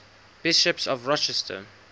bishops of worcester